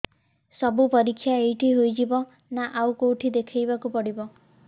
ସବୁ ପରୀକ୍ଷା ଏଇଠି ହେଇଯିବ ନା ଆଉ କଉଠି ଦେଖେଇ ବାକୁ ପଡ଼ିବ